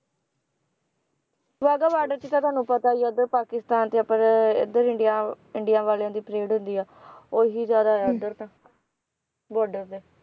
Wagah border ਚ ਤਾਂ ਤੁਹਾਨੂੰ ਪਤਾ ਹੀ ਆ ਉਧਰ ਪਾਕਿਸਤਾਨ ਤੇ ਆਪਣੇ ਇਧਰ ਇੰਡੀਆ ਇੰਡੀਆ ਵਾਲਿਆਂ ਦੀ ਪਰੇਡ ਹੁੰਦੀ ਆ ਉਹੀ ਜ਼ਿਆਦਾ ਆ ਇਧਰ ਤਾਂ ਬਾਰਡਰ ਤੇ